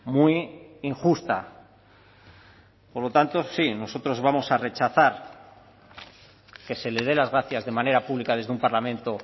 muy injusta por lo tanto sí nosotros vamos a rechazar que se le dé las gracias de manera pública desde un parlamento